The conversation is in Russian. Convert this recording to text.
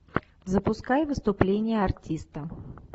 запускай выступление артиста